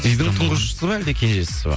үйдің тұңғышысыз ба әлде кенжесісіз бе